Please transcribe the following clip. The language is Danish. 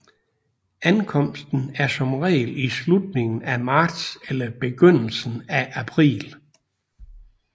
Ankomsten er som regel i slutningen af marts eller begyndelsen af april